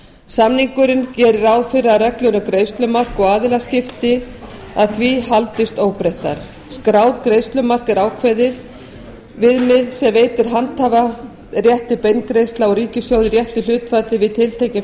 samningurinn gerir ráð fyrir að reglur um greiðslumark og aðilaskipti að því haldist óbreyttar skráð greiðslumark er ákveðið viðmið sem veitir handhafa rétt til beingreiðslna úr ríkissjóði í réttu hlutfalli við tiltekinn